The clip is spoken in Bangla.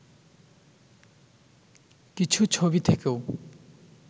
কিছু ছবি থেকেও